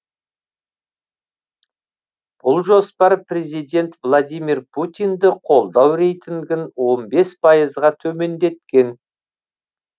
бұл жоспар президент владимир путинді қолдау рейтингін он бес пайызға төмендеткен